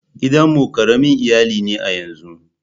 Gidan mu ƙaramin iyali ne a yanzun.